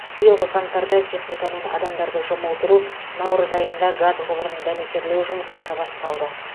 биылғы қаңтарда техника мен адамдарды жұмылдыру наурыз айында газ құбырын дәнекерлеу жұмыстары басталды